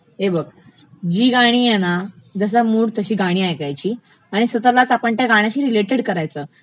हे बघ, जी गाणी आहे ना, जसा मूड तशी गाणी ऐकायची आणि स्वतःलाच आपण त्या गाण्याशी रिलेटड करायचं